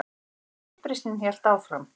En uppreisnin hélt áfram.